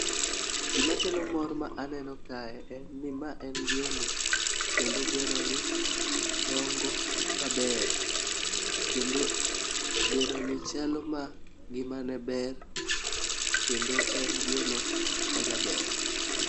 Gima kelo mor ma aneno kae en ni mae en gweno kendo gweno ni dongo maber . Kendo gweno ni chalo ma ngimane ber kendo en gweno ma jaber.